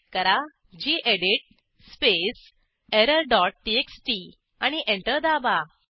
type करा गेडीत space error dot TXT आणि एंटर दाबा